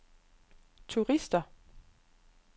turister